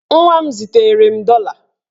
Nwa m zitere m dọla.